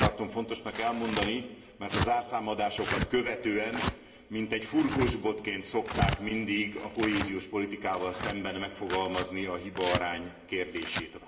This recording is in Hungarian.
Ezt azért tartom fontosnak elmondani, mert a zárszámadásokat követően mintegy furkósbotként szokták mindig a kohéziós politikával szemben megfogalmazni a hibaarány kérdését.